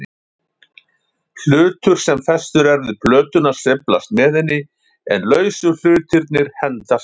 Hlutur sem festur er við plötuna sveiflast með henni, en lausu hlutirnir hendast til.